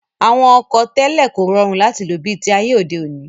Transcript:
Àwọn ọkọ̀ tẹ́lẹ̀ kò rọrùn láti lò bi ti ayé òde òní